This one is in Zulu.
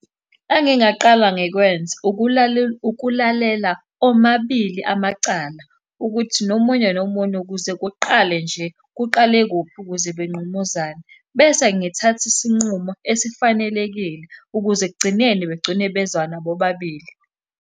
Engingaqala ngikwenze, ukulalela omabili amacala ukuthi nomunye nomunye ukuze kuqale nje, kuqale kuphi ukuze benqumuzane. Bese ngithatha isinqumo esifanelekile, ukuze ekugcineni begcine bezwana bobabili.